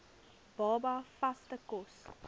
baba vaste kos